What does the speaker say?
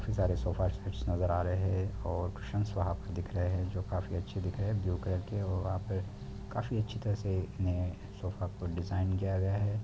बहुत सारे sofa sets नज़र आ रहे हैं और कुशन वहाँ पर दिख रहे हैं जो काफ़ी अच्छे दिख रहे हैं ब्लू कलर के और वहाँ पे काफ़ी अच्छी तरह से इन्हें सोफा को डिजाइन किया गया है।